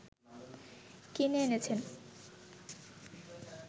কিনে এনেছেন